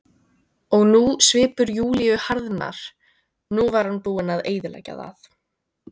Og nú, svipur Júlíu harðnar, nú var hann búinn að eyðileggja það.